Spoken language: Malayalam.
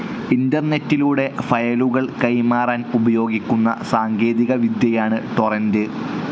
ഇൻ്റർനെറ്റിലൂടെ ഫയലുകൾ കൈമാറാൻ ഉപയോഗിക്കുന്ന സാങ്കേതികവിദ്യയാണ് ടോറൻ്റ്.